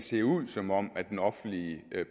det ud som om den offentlige